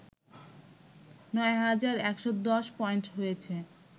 ৯ হাজার১১০ পয়েন্ট হয়েছে